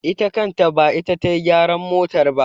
Ita kanta ba ita ta yi gyaran motar ba.